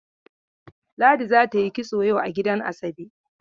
Ladi za ta yi kitso yau a gidan Asabe